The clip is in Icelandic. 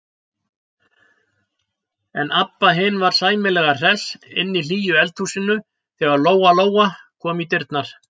En Abba hin var sæmilega hress inni í hlýju eldhúsinu þegar Lóa-Lóa kom í dyrnar.